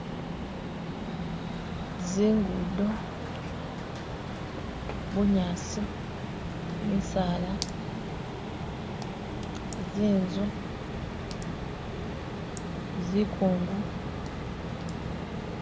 Zingudo, bunyaasi, misaala, zinzu, zikongo